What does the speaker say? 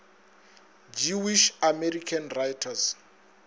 jewish american writers